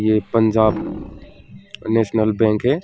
ये Punjab National Bank है।